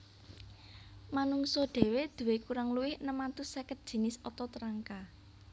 Manungsa dhéwé duwé kurang luwih enem atus seket jinis otot rangka